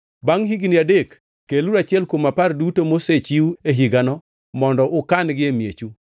Bangʼ higni adek, keluru achiel kuom apar duto mosechiw e higano mondo ukan-gi e miechu,